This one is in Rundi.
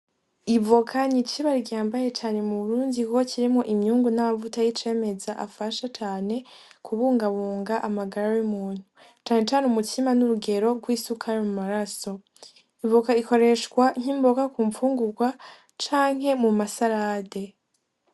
Ivoka n'icibare gihambaye cane m’Uburundii kuko kirimwo imyungu n'amavuta y'icemeza afasha cane kubungabunga amagara yumuntu; cane cane umutsima n'urugero gwisukari mu maraso. Ivoka ikoreshwa nk'imboga kumfungugwa canke kumasarade.